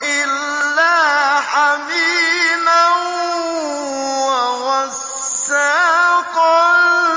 إِلَّا حَمِيمًا وَغَسَّاقًا